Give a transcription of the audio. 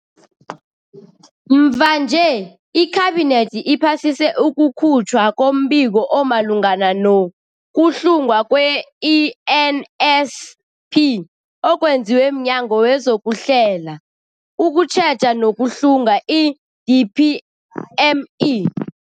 Mvanje, iKhabinethi iphasise ukukhutjhwa kombiko omalungana no-kuhlungwa kwe-ENSP okwenziwe mNyango wezokuHlela, ukuTjheja nokuHlunga, i-DPME.